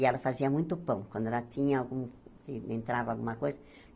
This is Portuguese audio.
E ela fazia muito pão, quando ela tinha algum... en entrava alguma coisa.